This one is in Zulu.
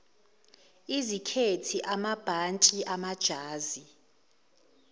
izikhethi amabhantshi amajazi